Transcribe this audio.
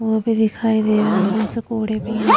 वो भी दिखाई दे रहा है अंदर से कोढ़े भी है।